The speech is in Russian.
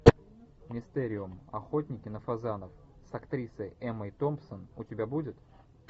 мистериум охотники на фазанов с актрисой эммой томпсон у тебя будет